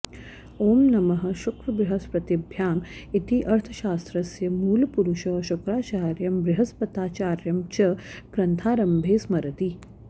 ॐ नमः शुक्रबृहस्पतिभ्याम् इति अर्थशास्त्रस्य मूलपुरुषौ शुक्राचार्यं बृहस्पत्याचार्यं च ग्रन्थारम्भे स्मरति